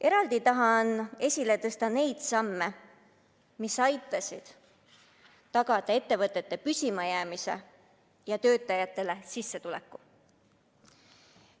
Eraldi tahan esile tõsta neid samme, mis aitasid tagada ettevõtete püsima jäämise ja töötajate sissetuleku.